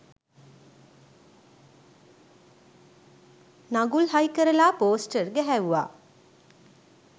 නගුල් හයිකරලා පෝස්ටර් ගැහැව්වා.